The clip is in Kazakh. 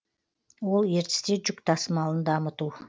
ол ертісте жүк тасымалын дамыту